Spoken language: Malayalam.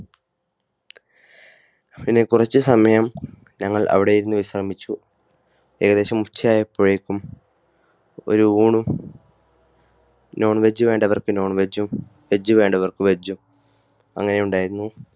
പിന്നെ കുറച്ച് സമയം ഞങ്ങൾ അവിടെ നിന്നു വിശ്രമിച്ചു. ഏകദേശം ഉച്ച ആയപ്പോഴേക്കും ഒരു ഊണും non veg വേണ്ടവർക്ക് non vegg, ഉം veg വേണ്ടവർക്ക് veg, ഉംഅങ്ങനെ ഉണ്ടായിരുന്നു.